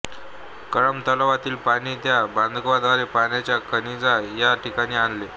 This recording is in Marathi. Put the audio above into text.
कळंब तलावातील पाणी त्या बंधाऱ्याद्वारे पाण्याचा खजिना या ठिकाणी आणले